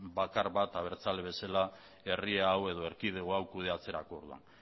bakar bat abertzale bezala herri hau edo erkidego hau kudeatzerako orduan